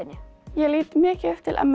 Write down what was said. ég lít mikið upp til m